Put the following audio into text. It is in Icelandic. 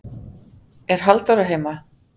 er halldóra heima